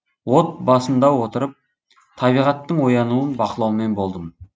от басында отырып табиғаттың оянуын бақылаумен болдым